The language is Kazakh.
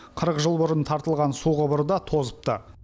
қырық жыл бұрын тартылған су құбыры да тозыпты